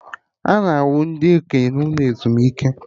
Ana ahụ ndị okenye n'ụlọ ezumike